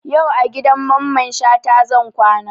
Yau a gidan Mamman Shata zan kwana